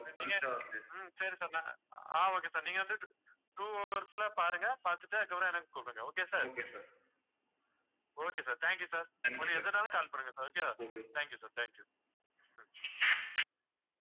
நீங்க உம் சரி sir ஆஹ் okay sir நீங்க வந்து two hours ல பாருங்க. பாத்துட்டு அதுக்கப்புறம் எனக்கு கூப்பிடுங்க okay sir okay sir, thank you sir உங்களுக்கு எதுன்னாலும் call பண்ணுங்க sir, okay yeah thank you sir, thank you